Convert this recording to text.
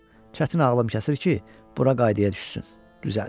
Çətin ağlım kəsir ki, bura qaydaya düşsün, düzəlsin.